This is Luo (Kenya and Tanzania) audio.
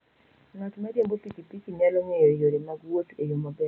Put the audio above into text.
Ng'at ma riembo pikipiki nyalo ng'eyo yore mag wuoth e yo maber.